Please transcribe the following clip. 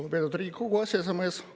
Lugupeetud Riigikogu aseesimees!